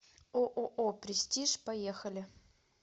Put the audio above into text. ооо престиж поехали